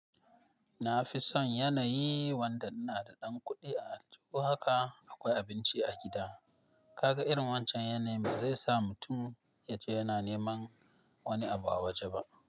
Na fi son yanayi wanda ina da ɗan kuɗi a aljuhu haka akwai abinci a gida. Kaga irin wancan yanayin ba zai sa mutum ya ce yana neman wani abu a waje ba.